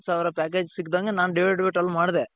ಸಾವಿರ package ಸಿಕ್ದಂಗೆ ನಾನು divided by twelve ಮಾಡ್ದೆ .